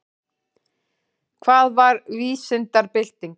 Hvað var vísindabyltingin?